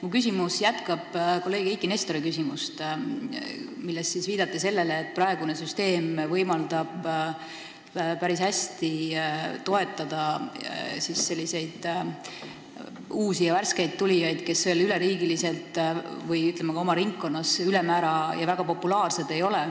Minu küsimus jätkab kolleeg Eiki Nestori küsimust, milles viidati sellele, et praegune süsteem võimaldab päris hästi toetada uusi ja värskeid tulijaid, kes ei ole veel üle riigi või, ütleme, oma ringkonnas väga populaarsed.